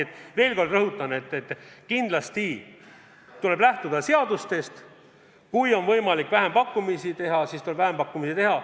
Ma veel kord rõhutan: kindlasti tuleb lähtuda seadustest ja kui on võimalik vähempakkumisi teha, siis tuleb vähempakkumisi teha.